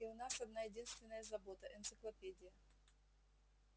и у нас одна-единственная забота энциклопедия